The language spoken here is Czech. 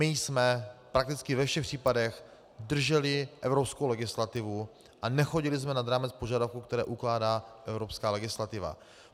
My jsme prakticky ve všech případech drželi evropskou legislativu a nechodili jsme nad rámec požadavků, které ukládá evropská legislativa.